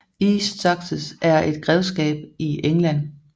East Sussex er et grevskab i England